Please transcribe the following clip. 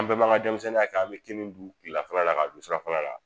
An bɛɛ m'an ka denmisɛnninya kɛ an be kini dun kilelafana la k'a dun surafana la